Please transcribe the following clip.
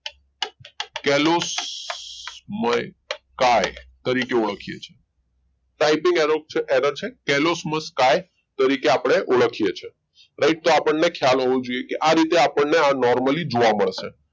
kelosmoky તરીકે ઓળખીએ છીએ typing error છે kelosmoky તરીકે આપણે ઓળખીએ છીએ right તો આપણને ખ્યાલ હોવો જોઈએ કે આ રીતે આપણને આ normally જોવા મળશે